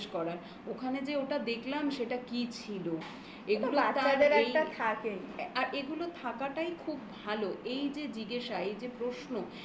ওখানে যে ওটা দেখলাম সেটা কি ছিল একটু বাচ্চাদের একটা থাকেই. আর এগুলো থাকাটাই খুব ভালো এই যে জিজ্ঞাসা এই যে প্রশ্ন